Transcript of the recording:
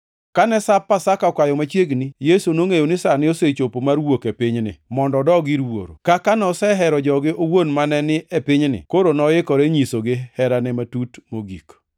Kane Sap Pasaka okayo machiegni, Yesu nongʼeyo ni sane osechopo mar wuok e pinyni mondo odog ir Wuoro. Kaka nosehero joge owuon mane ni e pinyni, koro noikore nyisogi herane matut mogik.